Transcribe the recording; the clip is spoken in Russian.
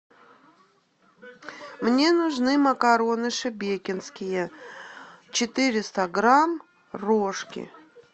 мне нужны макароны шебекинские четыреста грамм рожки